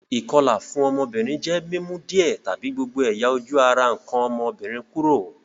Ìkolà fun ọ́mọ́bìnrin je mi mu díẹ̀ tàbi gbogbo ẹ̀yà-ojú ara nkàn ọ́mọ́bìnrin kúrò.